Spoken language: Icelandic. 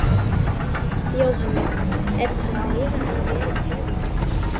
Jóhannes: Er þetta meira en verið hefur?